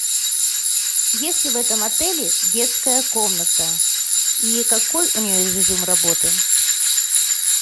есть ли в этом отеле детская комната и какой у нее режим работы